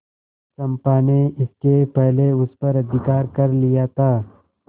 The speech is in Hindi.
चंपा ने इसके पहले उस पर अधिकार कर लिया था